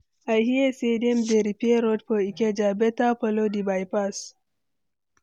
I hear say dem dey repair road for Ikeja, better follow di bypass.